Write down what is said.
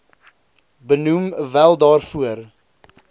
benoem wel daarvoor